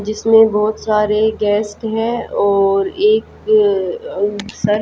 जिसमें बहो त सारे गेस्ट है और एक अ सर --